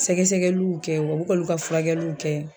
Sɛgɛsɛgɛluw kɛ wa u bi ka olu ka furakɛluw kɛ